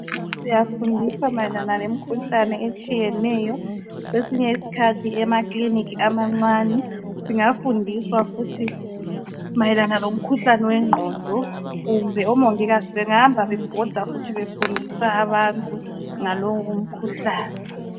Siyafundiswa mayelana lemkhuhlane etshiyeney kwesinye isikhathi emakilinika amancane singafundiswa futhi mayelana lomkhuhlane wengqondo kumbe omongikazi bengahamba bebhoda futhi befundisa abantu ngalowo mkhuhlane.